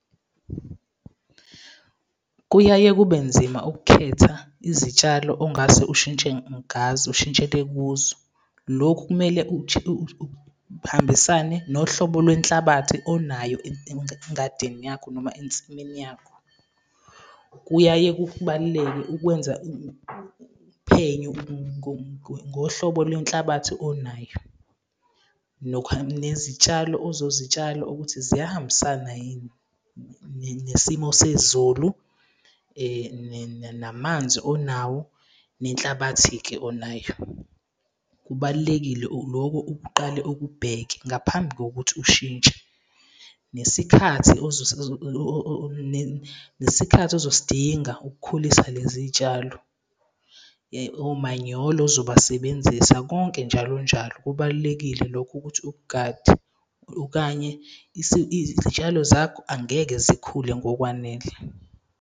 Kuyaye kube nzima ukukhetha izitshalo ongase ushintshe ngazo, ushintshele kuzo. Lokhu kumele uhambisane nohlobo lwenhlabathi onayo engadini yakho noma ensimini yakho. Kuyaye kubaluleke ukwenza uphenyo ngohlobo lwenhlabathi onayo nezitshalo ozozitshala ukuthi ziyahambisana yini nesimo sezulu, namanzi onawo nenhlabathi-ke onayo. Kubalulekile loko ukuqale ukubheke, ngaphambi kokuthi ushintshe, nesikhathi nesikhathi ozosidinga ukukhulisa lezi tshalo, omanyolo ozobasebenzisa, konke njalonjalo. Kubalulekile lokhu ukuthi ukugade okanye izitshalo zakho angeke zikhule ngokwanele.